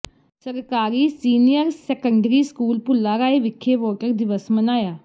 ਸਰਕਾਰੀ senior secondary school Bhullarai ਵਿਖੇ voter ਦਿਵਸ ਮਨਾਇਆ